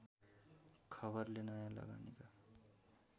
खबरले नयाँ लगानीका